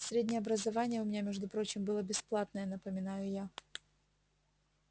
среднее образование у меня между прочим было бесплатное напоминаю я